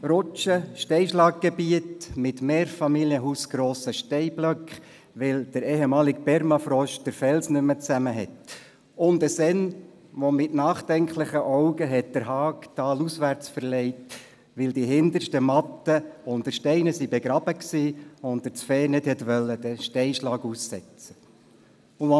Rutschen, Steinschlaggebiet mit mehrfamilienhausgrossen Steinblöcken, weil er ehemalige Permafrost den Felsen nicht mehr zusammenhält, und ein Senn, der mit nachdenklichem Blick den Zaun talauswärts verlegt hat, weil die hintersten Wiesen unter Steinen begraben waren und er das Vieh nicht der Gefahr eines Steinschlags aussetzen wollte.